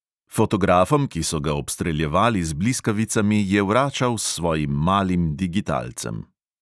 Fotografom, ki so ga obstreljevali z bliskavicami, je vračal s svojim malim digitalcem.